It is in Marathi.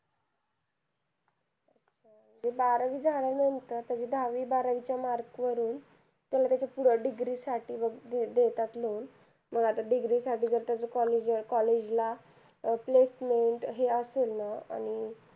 बारावी झाल्या नंतर त्याचे दहावी बारावी चे mark वरून त्याला त्याच्या पुढे Degree साठी वैगेरे देतात loan मग आता degree साठी त्याच college college ला placement हे असेलं ना आणि